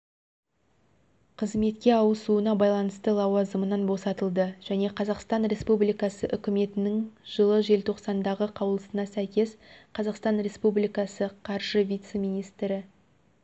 қызметке ауысуына байланысты лауазымынан босатылды және қазақстан республикасы үкіметінің жылы желтоқсандағы қаулысына сәйкес қазақстан республикасы қаржы вице-министрі